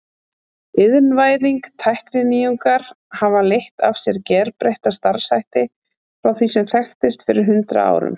Iðnvæðing Tækninýjungar hafa leitt af sér gerbreytta starfshætti frá því sem þekktist fyrir hundrað árum.